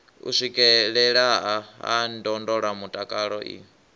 u swikelelea ha ndondolamutakalo i